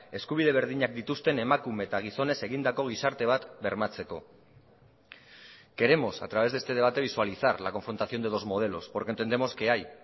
eskubide berdinak dituzten emakume eta gizonez egindako gizarte bat bermatzeko queremos a través de este debate visualizar la confrontación de dos modelos porque entendemos que hay